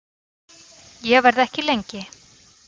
Ég verð ekki lengi